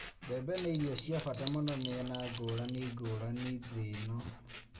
Mbembe nĩ irio cia bata mũno mĩena ngũrani ngũrani thĩ-ĩno.